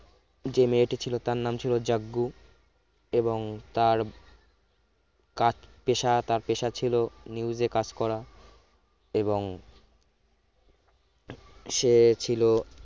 যে মেয়েটি ছিল তার নাম ছিল জাজ্ঞু এবং তার কাজ পেশা তার পেশা ছিল news এ কাজ করা এবং সে ছিল